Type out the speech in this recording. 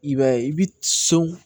I b'a ye i bi so